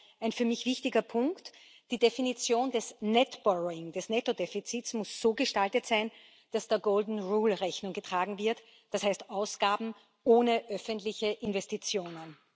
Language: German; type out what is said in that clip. Daher ist für mich ein wichtiger Punkt Die Definition des net borrowing des Nettodefizits, muss so gestaltet sein, dass der golden rule Rechnung getragen wird, das heißt Ausgaben ohne öffentliche Investitionen.